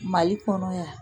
Mali kɔnɔ yan